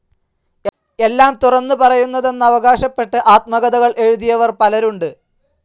എല്ലാം തുറന്നു പറയുന്നതെന്നവകാശപ്പെട്ട് ആത്മകഥകൾ എഴുതിയവർ പലരുണ്ട്.